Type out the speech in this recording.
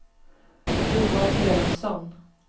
Johan Elofsson